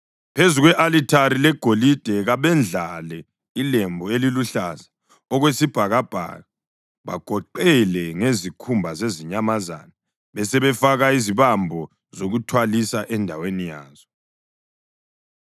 Phezu kwe-alithari legolide kabendlale ilembu eliluhlaza okwesibhakabhaka bakugoqele ngezikhumba zezinyamazana besebefaka izibambo zokuthwalisa endaweni yazo.